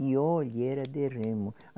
E olhe era de remo.